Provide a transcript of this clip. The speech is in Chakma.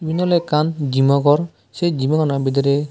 iyen olode ekkan gym o ghor se gym ano bidire.